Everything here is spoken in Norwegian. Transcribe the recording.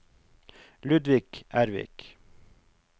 Ludvig Ervik